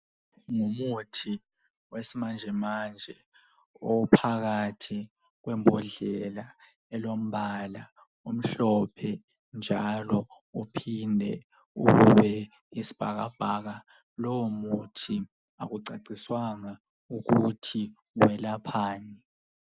Ngumuthi wesimanjemanje ophakathi kwembodlela elombala omhlophe njalo uphinde ube yisibhakabhaka. Lowo muthi akucaciswanga ukuthi welaphani.